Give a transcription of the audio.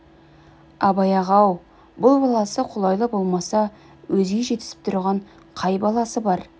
абай аға-ау бұл баласы қолайлы болмаса өзге жетісіп тұрған қай баласы бар